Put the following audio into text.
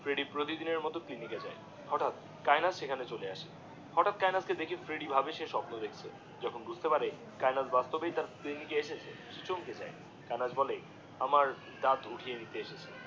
Freddie প্রতিদিনের মতো clinic এ যায়, হটাৎ কায়েনাথ সেখানে চলে এই হটাৎ কায়েনাথ এ দেখে ফ্রেডিডিএ ভাবে সে স্বপ্ন দেখছে যখন বুঝতে পারে কায়েনাথ বাস্তবে তার জিনিস এ এসেছে সে চমকে যায়, কায়েনাথ বলে, আমার দাত উঠিয়ে নিতে এসেছি।